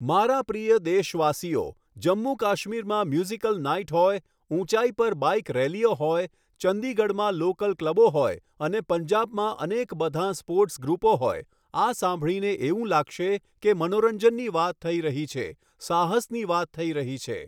મારા પ્રિય દેશવાસીઓ, જમ્મુ કાશ્મીરમાં મ્યૂઝિકલ નાઇટ હોય, ઊંચાઈ પર બાઇક રેલીઓ હોય, ચંડીગઢમાં લોકલ ક્લબો હોય અને પંજાબમાં અનેક બધાં સ્પૉર્ટ્સ ગ્રૂપો હોય, આ સાંભળીને એવું લાગશે કે મનોરંજનની વાત થઈ રહી છે, સાહસની વાત થઈ રહી છે.